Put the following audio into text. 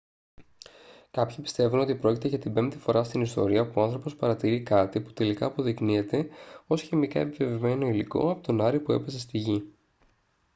κάποιοι πιστεύουν ότι πρόκειται για την πέμπτη φορά στην ιστορία που ο άνθρωπος παρατηρεί κάτι που τελικά αποδεικνύεται ως χημικά επιβεβαιωμένο υλικό από τον άρη που έπεσε στη γη